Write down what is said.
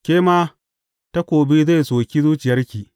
Ke ma, takobi zai soki zuciyarki.